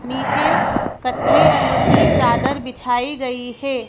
नीचे कत्थई रंग की चादर बिछाई गई है।